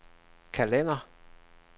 kalender